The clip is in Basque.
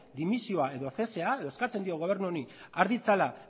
dimisioa edo kargu uztea edo eskatzen diogu gobernu honi har ditzala